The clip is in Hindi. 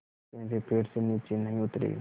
लेकिन वे पेड़ से नीचे नहीं उतरे